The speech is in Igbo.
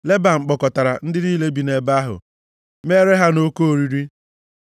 Leban kpọkọtara ndị niile bi nʼebe ahụ mere ha nʼoke oriri.